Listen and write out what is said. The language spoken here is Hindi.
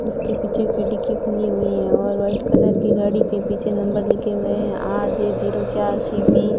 उसके पीछे खिड़की खुली हुई हैं और वाइट कलर की गाड़ी के पीछे नंबर लिखे हुए हैं आर_जे जीरो चार सी_बी --